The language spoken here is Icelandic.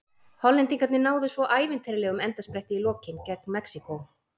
Hollendingarnir náðu svo ævintýralegum endaspretti í lokin gegn Mexíkó.